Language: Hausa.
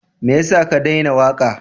Me ya sa ka daina waƙa?